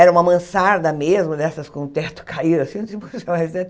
Era uma mansarda mesmo, dessas com o teto caído assim.